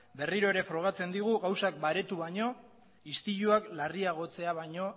berriro frogatzen digu gauzak baretu baino istiluak larriagotzea baino